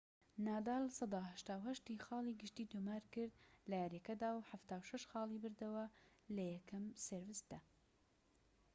نادال %٨٨ خاڵی گشتی تۆمار کرد لەیاریەکەدا و ٧٦ خاڵی بردەوە لە یەکەم سێرفدا